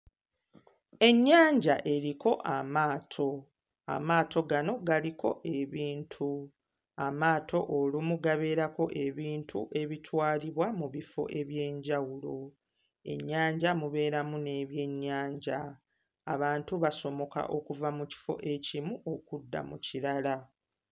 Ennyanja eriko amaato, amaato gano galiko ebintu, amaato olumu gabeerako ebintu ebitwalibwa mu bifo eby'enjawulo, ennyanja mu beeramu n'ebyennyanja abantu basomoka okuva mu kifo ekimu okudda mu kirala.